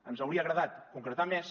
ens hauria agradat concretar més